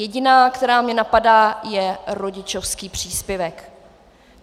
Jediná, která mě napadá, je rodičovský příspěvek.